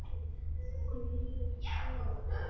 Honum líður ekki nógu vel.